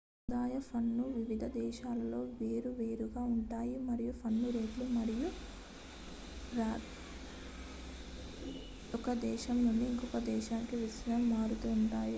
ఆదాయ పన్ను వివిధ దేశాల్లో వేర్వేరుగా ఉంటుంది మరియు పన్ను రేట్లు మరియు బ్రాకెట్లు ఒక దేశం నుండి ఇంకొక దేశానికి విస్తృతంగా మారుతూ ఉంటాయి